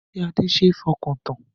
Ṣé Adé ṣe é fọkàn tán?